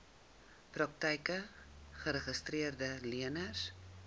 praktyke geregistreede leners